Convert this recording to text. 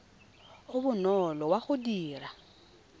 o bonolo wa go dira